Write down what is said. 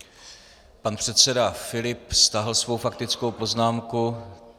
Pan předseda Filip stáhl svou faktickou poznámku.